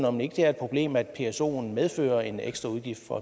om ikke det er et problem at psoen medfører en ekstra udgift for